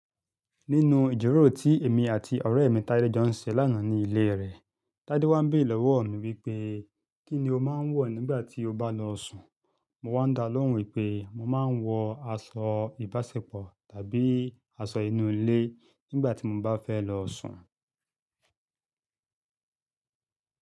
Nínú ìjíròrò tí èmi àti ọ̀rẹ́ mi Tádé jọ ń ṣe lánàá ní ilé rẹ̀, Tádé wá ń béèrè lọ́wọ́ mi wípé, "kí ni o máa ń wọ̀ nígbà tí o bá lọ sùn?" Mo wá ń dá lóhùn wípé, mo máa ń wọ aṣọ ìbáṣepọ̀ tàbí aṣọ inú ilé nígbà tí mo bá fẹ́ lọ sùn.